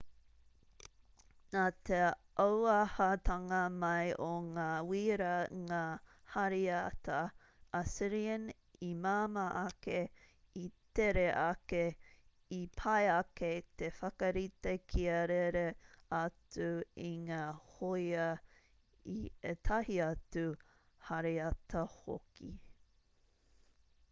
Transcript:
nā te auahatanga mai o ngā wīra ngā hāriata assyrian i māmā ake i tere ake i pai ake te whakarite kia rere atu i ngā hōia i ētahi atu hāriata hoki